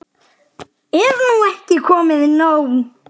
Er nú ekki komið nóg?